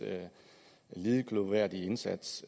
lidet glorværdige indsats